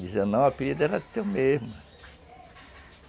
Dizia não, o apelido era teu mesmo.